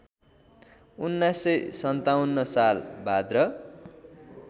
१९५७ साल भाद्र